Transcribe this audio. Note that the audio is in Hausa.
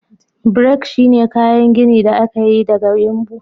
Brick shine kayan gini da aka yi daga yumbu.